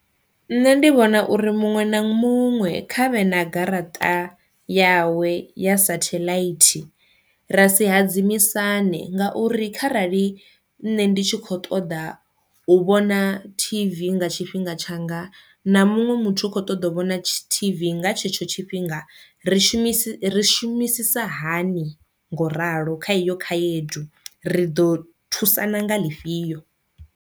Nṋe ndi vhona uri muṅwe na muṅwe khavhe na garaṱa yawe ya sathelaithi, ra si hadzimisane nga uri kharali nṋe ndi tshi kho ṱoḓa u vhona tv nga tshifhinga tshanga na muṅwe muthu u kho ṱoḓa u vhona tv nga tshetsho tshifhinga ri shumisi ri shumisisa hani ngo ralo kha iyo khayedu, ri ḓo thusana nga ḽifhio.